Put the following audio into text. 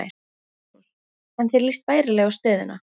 Magnús: En þér líst bærilega á stöðuna?